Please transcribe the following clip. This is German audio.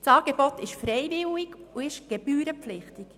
Das Angebot ist freiwillig und gebührenpflichtig.